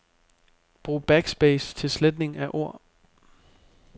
Brug backspace til sletning af ord.